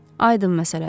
Aydın məsələdir.